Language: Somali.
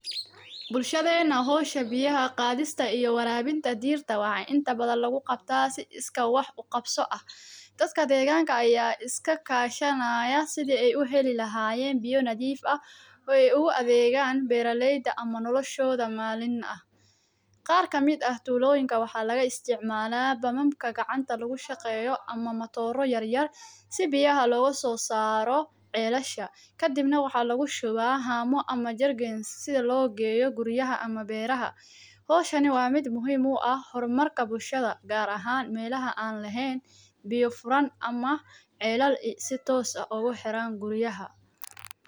bulshadena ah hoosha bixi ahaa qaadista iyo waraabinta diirta wacan inta badan lagu qabtaa si iska wax u qabso ah. Dadka adeegaanka ayaa iska kaashanaya sideey u heli lahaayen biyo nadiif ah oo eey u aadeegaan beeralayda ama noloshoda maalin ah. Qaarka mid ah tuuloyinka waxaa laga isticmaalaa bamaamka gacanta lagu shaqeeyo ama matooro yaryar si biyaha loogu soo saaro celasha. Ka dibna waxaa lagu shubaa haamo ama jargeln sida loo geeyo guryaha ama beeraha. Hooshaani waa mid muhiim u ah horumarka bulshada gaar ahaan meelaha aan lahayn biyo furan ama celal si toos ah ugu xiraan guryaha.